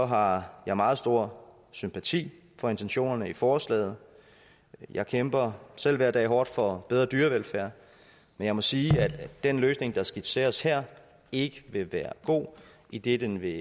har jeg meget stor sympati for intentionerne i forslaget jeg kæmper selv hver dag hårdt for bedre dyrevelfærd men jeg må sige at den løsning der skitseres her ikke vil være god idet den vil